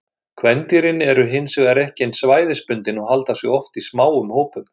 Kvendýrin eru hin vegar ekki eins svæðisbundin og halda sig oft í smáum hópum.